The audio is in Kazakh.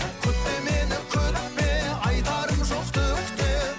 күтпе мені күтпе айтарым жоқ түк те